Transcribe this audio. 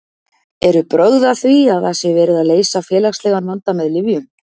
Eru brögð að því að það sé verið að leysa félagslegan vanda með lyfjum?